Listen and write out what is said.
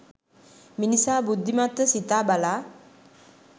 මිනිසා බුද්ධිමත්ව සිතා බලා